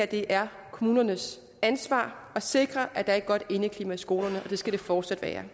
det er kommunernes ansvar at sikre at der er et godt indeklima i skolerne det skal det fortsat være